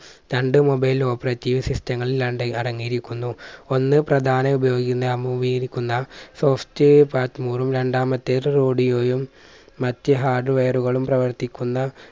രണ്ട്‌ mobile operative system ങ്ങളിൽ രണ്ട്‌ അടങ്ങിയിരിക്കുന്നു. ഒന്ന് പ്രധാന ഉപയോഗിക്കുന്ന അമൂവീകരിക്കുന്ന soft ഉം രണ്ടാമത്തേത്‌ radio യും മറ്റ് hardware കളും പ്രവർത്തിക്കുന്ന